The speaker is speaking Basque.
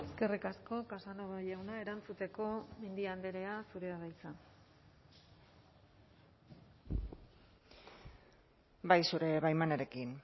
eskerrik asko casanova jauna erantzuteko mendia andrea zurea da hitza bai zure baimenarekin